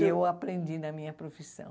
E eu aprendi na minha profissão.